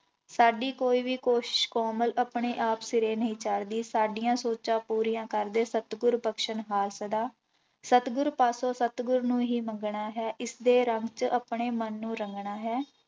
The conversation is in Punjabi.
ਸਾਡੀ ਕੋਈ ਵੀ ਕੁਛ ਕੋਮਲ ਆਪਣੇ ਆਪ ਸਿਰੇ ਨਹੀਂ ਚੜ੍ਹਦੀ, ਸਾਡੀਆਂ ਸੋਚਾਂ ਪੂਰੀਆਂ ਕਰਦੇ ਸਤਿਗੁਰੂ ਬਖਸਣਹਾਰ ਸਦਾ, ਸਤਿਗੁਰ ਪਾਸੋਂ ਸਤਿਗੁਰ ਨੂੰ ਹੀ ਮੰਗਣਾ ਹੈ ਇਸਦੇ ਰੰਗ ਚ ਆਪਣੇ ਮਨ ਨੂੰ ਰੰਗਣਾ ਹੈ।